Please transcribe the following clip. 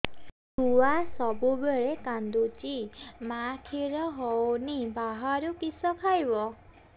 ଛୁଆ ସବୁବେଳେ କାନ୍ଦୁଚି ମା ଖିର ହଉନି ବାହାରୁ କିଷ ଖାଇବ